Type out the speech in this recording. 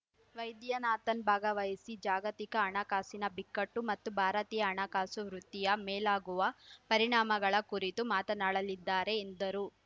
ವೈದ್ಯನಾಥನ್ ಭಾಗವಹಿಸಿ ಜಾಗತಿಕ ಹಣಕಾಸಿನ ಬಿಕ್ಕಟ್ಟು ಮತ್ತು ಭಾರತೀಯ ಹಣಕಾಸು ವೃತ್ತಿಯ ಮೇಲಾಗುವ ಪರಿಣಾಮಗಳ ಕುರಿತು ಮಾತನಾಡಲಿದ್ದಾರೆ ಎಂದರು